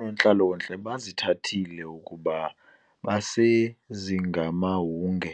Oonontlalontle bazithathile kuba besezingamahunge